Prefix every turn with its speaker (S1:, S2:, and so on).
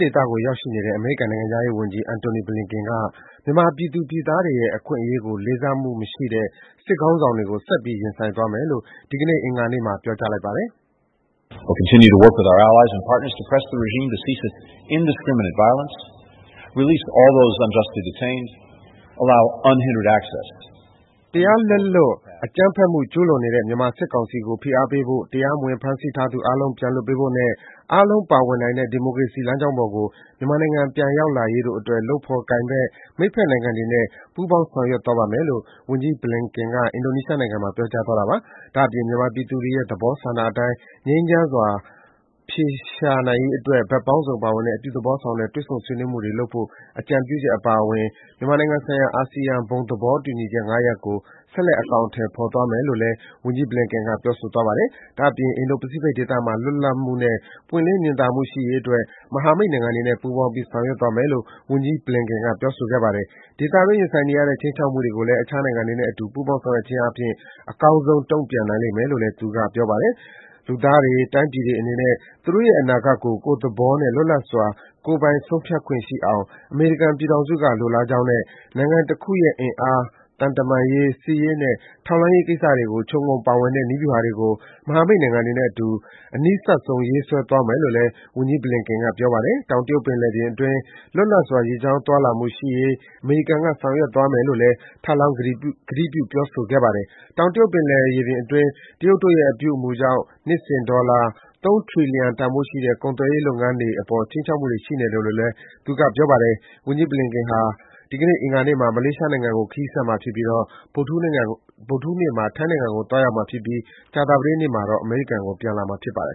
S1: ဒေသကို ရောက်ရှိနေတဲ့ အမေရိကန်ုနိုင်ငံခြားရေး ဝန်ကြီး Antony Blinken က မြန်မာပြည်သူပြည်သားတွေရဲ့အခွင့်အရေးကို လေးစားမှုမရှိတဲ့ စစ်ခေါင်းဆောင်တွေကို ဆက်ပြီး ရင်ဆိုင်သွားမယ်လို့ ဒီကနေ့ အင်္ဂါနေ့မှာပြောပါတယ်။ “တရားလက်လွတ် အကြမ်းဖက်မှုကျူးလွန်နေတဲ့မြန်မာစစ်ကောင်စီကို ဖိအားပေးဖို့၊ တရားမဝင် ဖမ်းဆီးထားသူအားလုံး ပြန်လွှတ်ပေးဖို့နဲ့ အားလုံးပါဝင်နိုင်တဲ့ ဒီမိုကရေစီလမ်းကြောင်းပေါ်ကို မြန်မာနိုင်ငံ ပြန်ရောက်လာရေးတို့အတွက် လုပ်ဖော် ကိုင်ဘက်၊ မိတ်ဖက်နိုင်ငံတွေနဲ့ ပူးပေါင်းဆောင်ရွက်သွားမယ်လို့” - ဝန်ကြီး Blinken က အင်ဒိုနီးရှားနိုင်ငံမှာ ပြောသွားတာပါ။ ဒါ့အပြင် မြန်မာပြည်သူတွေရဲ့သဘောဆန္ဒအတိုင်း ငြိမ်းချမ်းစွာအဖြေရှာနိုင်ရေး ဘက်ပေါင်းစုံပါဝင်တဲ့ အပြုသဘောဆောင်တဲ့ တွေ့ဆုံ ဆွေးနွေးမှုတွေလုပ်ဖို့ အကြံပြုချက်အပါအဝင် မြန်မာနိုင်ငံဆိုင်ရာ အာဆီယံဘုံသလောတူညီမှု ၅ ရပ်ကို ဆက်လက် အကောင်အထည် ဖော်သွားမယ်လို့လည်း ဝန်ကြီး Blinken က ပြောဆိုသွားပါတယ်။ ဒါ့အပြင် အင်ဒိုပစိဖိတ်ဒေသမှာ လွတ်လပ်မှုနဲ့ပွင့်လင်းမြင်သားမှုရှိရေးအတွက် မဟာမိတ်နိုင်ငံတွေနဲ့ပူးပေါင်းပြီး ဆောင်ရွက်သွားမယ်လို့ ဝန်ကြီး Blinken က ပြောဆိုခဲ့ပါတယ်။ ဒေသတွင်းရင်ဆိုင်နေရတဲ့ခြိမ်းချောက်မှုတွေကိုလည်း အခြားနိုင်ငံတွေနဲ့ ပူးပေါင်း ဆောင်ရွက်ခြင်းအားဖြင့် အကောင်းဆုံးတုံ့ပြန်နိုင်မယ်လို့လည်း သူက ပြောပါတယ်။ လူသားတွေ တိုင်းပြည်တွေအနေနဲ့ သူတို့ရဲ့ အနာဂတ်ကို ကိုယ့်သဘောနဲ့ လွတ်လပ်စွာ ကိုယ်ပိုင်ဆုံးဖြတ်နိုင်ခွင့်ရှိအောင် အမေရိကန်ပြည်ထောင်စုက လိုလားကြောင်းနဲ့ နိုင်ငံတခုရဲ့ အင်အား၊ သံတမန်ရေး၊ စစ်ရေးနဲ့ ထောက်လှမ်းရေးကိစ္စတွေ ခြုံငုံပါဝင်တဲ့ နည်းဗျူဟာတွေကို မဟာမိတ်နိုင်ငံတွေနဲ့အတူ အနီးစပ် ဆုံး ရေးဆွဲသွားမယ်လို့လည်း ဝန်ကြီး Blinken ကပြောပါတယ်။ တောင်တရုတ်ပင်လယ်တွင်း လွတ်လပ်စွာရေကြောင်းသွားလာမှုရှိရေး အမေရိကန်က ဆောင် ရွက်ပေးသွားမယ်လု့ိလည်း ထပ်လောင်း ကတိပြုပြောဆိုခဲ့ပါတယ်။ တောင်တရုတ်ပင်လယ်ရေပြင်အတွင်း တရုတ်တို့ရဲ့အပြုအမူကြောင့် နှစ်စဉ် ဒေါ်လာ ၃ ထရီလီယံတန်ဖိုးရှိတဲ့ ကုန်သွယ်ရေးလုပ်ငန်းတွေ အပေါ် ခြိမ်းချောက်မှုတွေရှိနေတယ်လို့လည်း ဝန်ကြီး Blinken ကပြောပါတယ်။ ဝန်ကြီး Blinken ဟာ ဒီကနေ့ အင်္ဂါနေ့မှာ မလေးရှားနိုင်ငံကို ခရီးဆက်မှာဖြစ်ပါတယ်။ ဗုဒ္ဓဟူးနေ့မှာ ထိုင်းနိုင်ငံကို သွားရောက်မှာဖြစ်ပြီး ကြာသပတေးနေ့မှာ အမေရိကန်ကို ပြန်လာမှာ ဖြစ်ပါတယ်